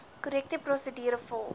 korrekte prosedure volg